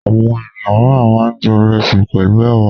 Àwọn ènìyàn mìíràn máa ń jẹ ìrẹsì pẹ̀lú ẹ̀wà.